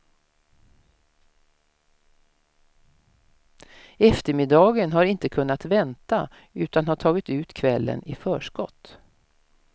Eftermiddagen har inte kunnat vänta utan har tagit ut kvällen i förskott.